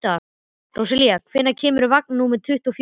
Rósalía, hvenær kemur vagn númer tuttugu og fjögur?